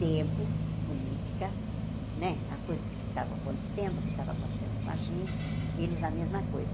Tempo, política, né as coisas que estavam acontecendo, o que estava acontecendo com a gente, eles a mesma coisa.